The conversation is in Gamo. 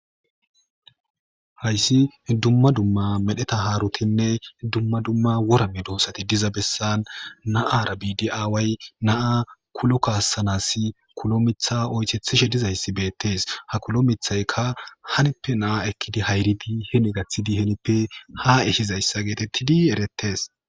Hayssi dumma dumma medheta haarotinne dumma dumma worame doossati diza bessan naara biidi aaway naa kulo kaassanas kulo mitha oytethishe dizayssi beettes hakulo mithaykka hanippe naa ekkidi hayribi hene gathidi henippe haehizayssa geetettidi erettes.